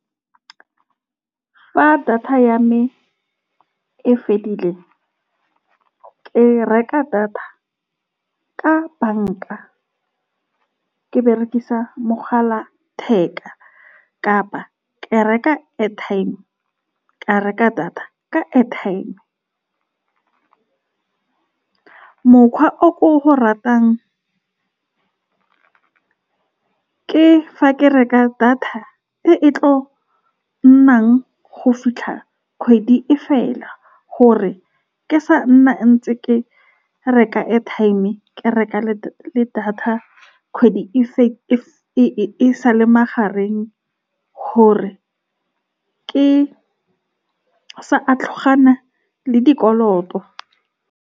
Fa data ya me e fedile, ke reka data ka banka, ke berekisa mogala wa letheka kapa ke reka airtime, ke reka data ka airtime. Mokgwa o ko go ratang ke fa ke reka data e e tla nnang go fitlha kgwedi e fela, gore ke sa nna ntse ke reka airtime, ke reka le data. Kgwedi e e sa le mahareng, gore ke sa a le dikoloto.